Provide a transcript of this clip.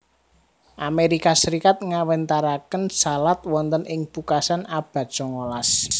Amerika Serikat ngawéntaraken salad wonten ing pungkasan abad songolas